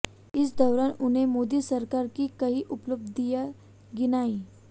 इस दौरान उन्होंने मोदी सरकार की कई उपलब्धियां गिनाईं